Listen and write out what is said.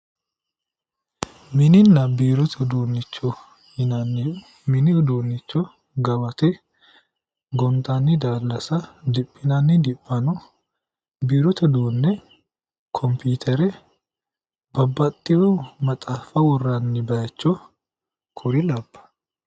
Mininna biirote uduunnicho yinanniri mini uduunni gawate gonxanni daallasa diphinanni diphano biirote uduunne kompiitere babbaxxino maaxaaffa worranni baycho kuri labbanno